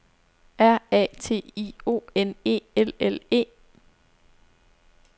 R A T I O N E L L E